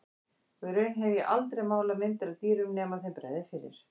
Og í raun hef ég aldrei málað myndir af dýrum nema þeim bregði fyrir.